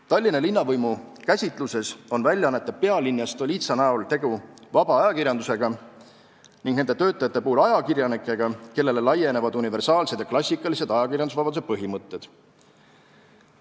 Tallinna linnavõimu käsitluses on väljaannete Pealinn ja Stolitsa näol tegu vaba ajakirjandusega ning nende töötajate näol ajakirjanikega, kellele laienevad universaalsed ja klassikalised ajakirjandusvabaduse põhimõtted.